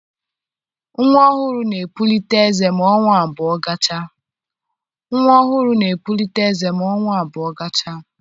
Nnwa ọhụrụ na-epulite eze ma ọnwa abụọ gachaa